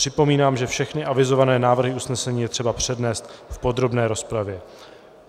Připomínám, že všechny avizované návrhy usnesení je třeba přednést v podrobné rozpravě.